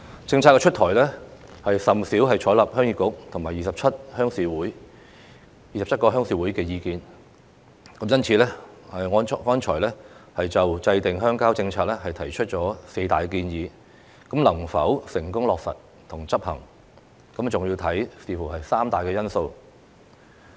政策出台也甚少採納鄉議局和27個鄉事會的意見，因此，我剛才就制訂鄉郊政策提出了四大建議，能否成功落實和執行，還要視乎三大因素。